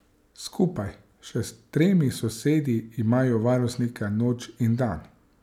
Skupaj še s tremi sosedi imajo varnostnika noč in dan.